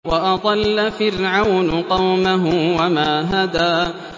وَأَضَلَّ فِرْعَوْنُ قَوْمَهُ وَمَا هَدَىٰ